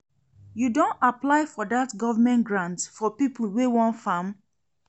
You don apply for that government grant for people wey wan farm?